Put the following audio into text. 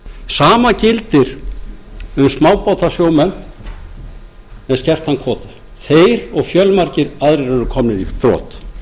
sama gildir um smábátasjómenn með skertan kvóta þeir og fjölmargir aðrir eru komnir í þrot